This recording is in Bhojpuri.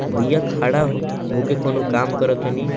भैया खड़ा हो होके कोनो काम करे तनी।